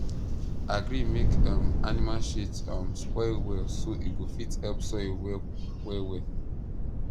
agree make um animal shit um spoil well so e go fit help soil work well well